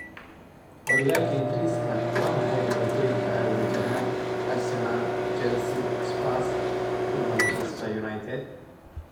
Horyalka ingriska: Waa maxay dhibaatooyinka ay wajahayaan Arsenal, Chelsea, Spurs iyo Man Utd?